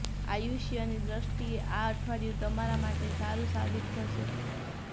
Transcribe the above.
આયુષ્યની દ્રષ્ટિએ આ અઠવાડિયું તમારા માટે સારું સાબિત થશે